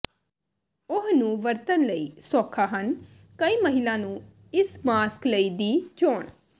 ਉਹ ਨੂੰ ਵਰਤਣ ਲਈ ਸੌਖਾ ਹਨ ਕਈ ਮਹਿਲਾ ਨੂੰ ਇਸ ਮਾਸਕ ਲਈ ਦੀ ਚੋਣ